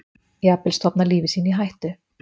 Jafnvel stofna lífi sínu í hættu.